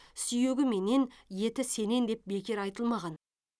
сүйегі менен еті сенен деп бекер айтылмаған